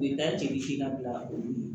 U ye da jeli si la olu ye